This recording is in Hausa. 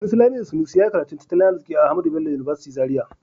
Sanusi Lamido Sanusi ya yi karatun tattalin arziki a Ahmadu Bello University Zaria.